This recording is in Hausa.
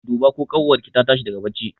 Duba ko ƙanwar ki ta tashi daga barci!